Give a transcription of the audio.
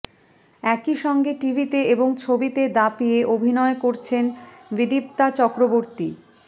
একই সঙ্গে টিভিতে এবং ছবিতে দাপিয়ে অভিনয় করছেন বিদীপ্তা চক্রবর্তী